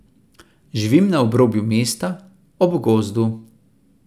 Živim na obrobju mesta, ob gozdu.